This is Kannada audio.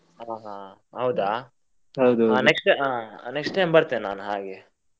ಹಾ ಹಾ ಹೌದಾ next time ಆ next time ಬರ್ತೇನೆ ಹಾಗೆ.